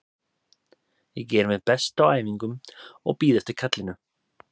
Ég geri mitt besta á æfingum og bíð eftir kallinu.